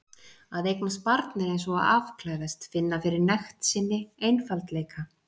Að eignast barn er eins og að afklæðast, finna fyrir nekt sinni, einfaldleika.